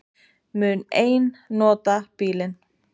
Mun ein nota bílinn